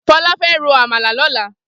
Folake fè ró ámàlá lòlá